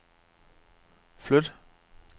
flyt